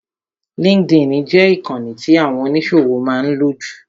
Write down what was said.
LinkedIn jẹ ìkànì tí àwọn oníṣòwò máa ń lò jù.